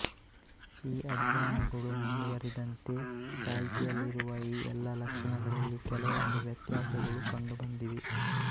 ಈ ಅಧ್ಯಯನಗಳು ಮುಂದುವರಿದಂತೆ ಚಾಲ್ತಿಯಲ್ಲಿರುವ ಈ ಎಲ್ಲಾ ಲಕ್ಷಣಗಳಲ್ಲಿ ಕೆಲವೊಂದು ವ್ಯತ್ಯಾಸಗಳು ಕಂಡುಬಂದಿವೆ